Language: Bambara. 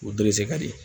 O dorezi